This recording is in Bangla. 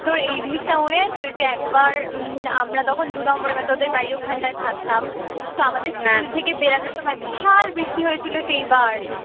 তোর এই জিনিসটা মনে আছে ওই যে একবার উম আমরা তখন দুই নম্বরে মানে তোদের বাড়ির ওখানটায় থাকতাম তো আমাদের স্কুল থেকে বেরোনোর সময় বিশাল বৃষ্টি হয়েছিল সেইবার